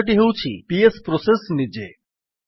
ଅନ୍ୟଟି ହେଉଛି PS process ନିଜେ